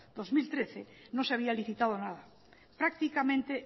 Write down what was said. dos mil trece no se había licitado nada prácticamente